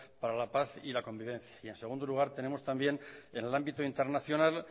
para la paz y la convivencia y en segundo lugar tenemos también en el ámbito internacional